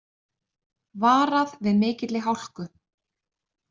Varað við mikilli hálku